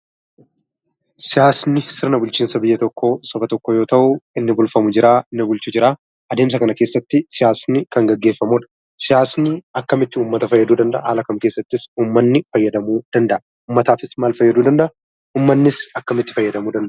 Siyaasni sirna bulchinsa biyya tokkoo, saba tokkoo yoo ta'u, inni bulchamu jiraa, inni bulchuu jiraa adeemsa kana keessatti siyaasni Kan geggeeffamudha. Siyaasni akkamitti ummaata faayyaduu danda'aa? Haala kam keessattis ummaanni faayyadamuu danda'a? Ummaatafis maal faayyaduu danda'aa? Ummaannis akkamitti faayyadaamuu danda'aa?